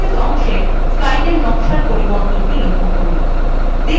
workspace অংশে slide নকশার পরিবর্তনটি লক্ষ্য করুন